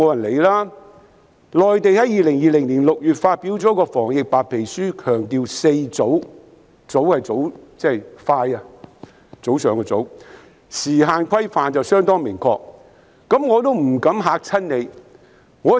內地在年月發表了一份防疫白皮書，當中強調"四早"——"早"是快的意思——有相當明確的時限規範。